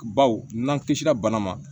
Baw n'an kisira bana ma